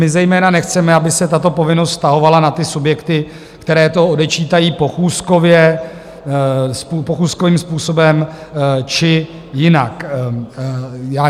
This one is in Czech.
My zejména nechceme, aby se tato povinnost vztahovala na ty subjekty, které to odečítají pochůzkově, pochůzkovým způsobem či jinak.